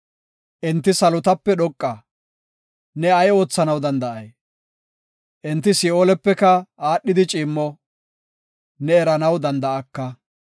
Enti salotape dhoqa; ne ay oothanaw danda7ay? Enti Si7oolepeka aadhida ciimmo; ne eranaw danda7aka.